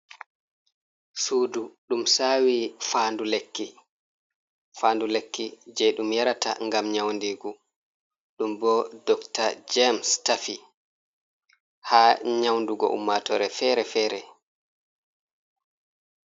Suudu ɗum saawi faandu lekki jey ɗum yarata ngam nyawndiigu. Ɗum bo Dokta James tafi haa nyawndugo ummaatoore feere-feere.